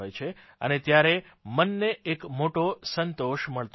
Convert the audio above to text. અને ત્યારે મનને એક મોટો સંતોષ મળતો હોય છે